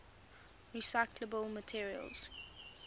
recyclable materials